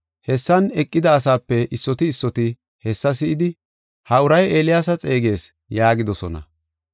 Hessan eqida asaape issoti issoti hessa si7idi, “Ha uray Eeliyaasa xeegees” yaagidosona.